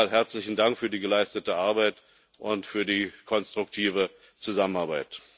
Noch mal herzlichen Dank für die geleistete Arbeit und für die konstruktive Zusammenarbeit!